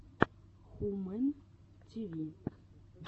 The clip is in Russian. хумэн ти ви